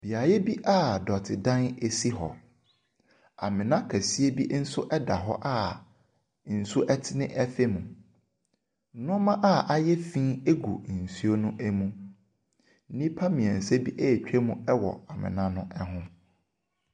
Beaeɛ bi a dɔte dan esi hɔ. Amena kɛseɛ bi nso ɛda hɔ a nsuo ɛtene ɛfa mu. Nneema a ayɛ fin egu nsuo ne mu. Nnipa mmiɛnsa bi ɛretwa mu ɛwɔ amena no ho.